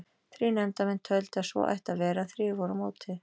Þrír nefndarmenn töldu að svo ætti að vera en þrír voru á móti.